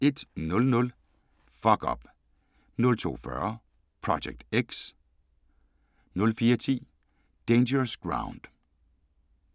01:00: Fuck Up 02:40: Project X 04:10: Dangerous Ground